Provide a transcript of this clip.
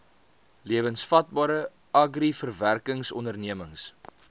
lewensvatbare agri verwerkingsondernemings